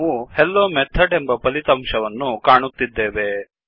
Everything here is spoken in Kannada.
ನಾವು ಹೆಲ್ಲೊಮೆಥಾಡ್ ಎಂಬ ಫಲಿತಾಂಶವನ್ನು ಕಾಣುತ್ತಿದ್ದೇವೆ